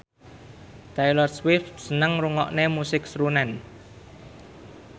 Taylor Swift seneng ngrungokne musik srunen